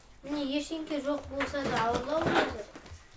міне ештеңке жоқ болса да ауырлау өзі